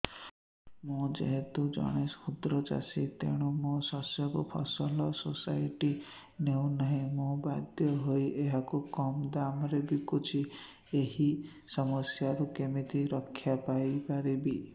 ମୁଁ ଯେହେତୁ ଜଣେ କ୍ଷୁଦ୍ର ଚାଷୀ ତେଣୁ ମୋ ଶସ୍ୟକୁ ଫସଲ ସୋସାଇଟି ନେଉ ନାହିଁ ମୁ ବାଧ୍ୟ ହୋଇ ଏହାକୁ କମ୍ ଦାମ୍ ରେ ବିକୁଛି ଏହି ସମସ୍ୟାରୁ କେମିତି ରକ୍ଷାପାଇ ପାରିବି